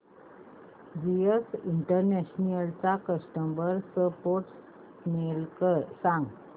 GS International चा customer support email सांग